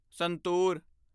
ਸੰਤੂਰ